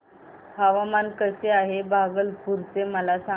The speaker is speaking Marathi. हवामान कसे आहे भागलपुर चे मला सांगा